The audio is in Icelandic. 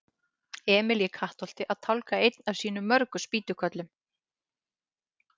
Emil í Kattholti að tálga einn af sínum mörgu spýtukörlum.